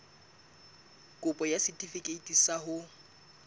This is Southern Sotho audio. kopo ya setefikeiti sa ho